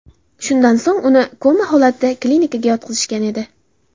Shundan so‘ng uni koma holatida klinikaga yotqizishgan edi.